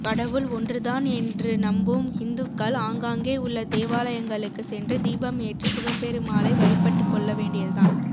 கடவுள் ஒன்றுதான் என்று நம்பும் ஹிந்துக்கள் ஆங்காங்கே உள்ள தேவாலயங்களுக்கு சென்று தீபம் ஏற்றி சிவபெருமாளை வழிப்பட்டுக் கொள்ளவேண்டியதுதான்